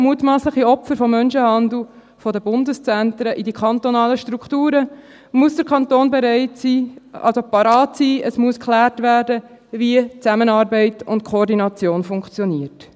mutmassliche Opfer von Menschenhandel von den Bundeszentren in die kantonalen Strukturen, muss der Kanton parat sein, es muss geklärt werden, wie die Zusammenarbeit und die Koordination funktionieren.